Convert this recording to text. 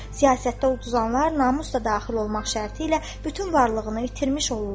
Siyasətdə uduzanlar namus da daxil olmaq şərti ilə bütün varlığını itirmiş olurlar.